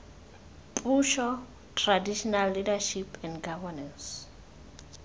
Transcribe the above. puso traditional leadership and governance